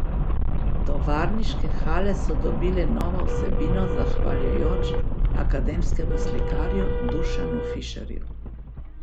Tovarniške hale so dobile novo vsebino zahvaljujoč akademskemu slikarju Dušanu Fišerju.